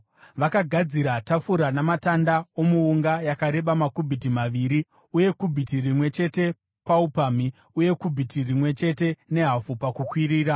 Vakagadzira tafura namatanda omuunga, yakareba makubhiti maviri , uye kubhiti rimwe chete paupamhi, uye kubhiti rimwe chete nehafu pakukwirira.